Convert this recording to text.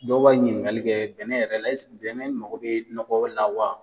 Dɔw b'a ɲininkali kɛ bɛnɛ yɛrɛ bɛnɛ mago be nɔgɔ la wa?